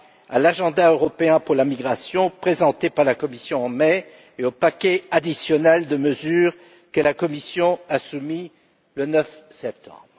à l'agenda européen en matière de migration présentée par la Commission en mai et au paquet additionnel de mesures que la Commission a soumis le 9 septembre.